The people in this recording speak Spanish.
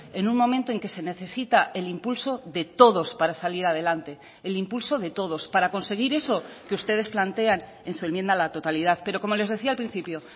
en un momento en que se necesita el impulso de todos para salir adelante el impulso de todos para conseguir eso que ustedes plantean en su enmienda a la totalidad pero como les decía al principio